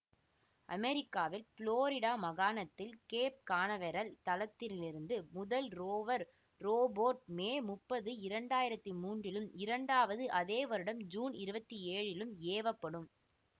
அமெரிக்காவில் ப்ளோரிடா மாகாணத்தில் Cape Canaveral தளத்திலிருந்து முதல் ரோவர் ரோபோட் மே முப்பது இரண்டு ஆயிரத்தி மூணிலும் இரண்டாவது அதே வருடம் ஜூன் இருபத்தி ஏழுலிலும் ஏவப்படும்